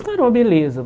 Não era uma beleza.